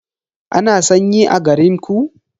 Ana sanyi a garinku?